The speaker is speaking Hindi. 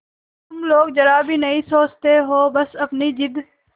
तुम लोग जरा भी नहीं सोचती हो बस अपनी जिद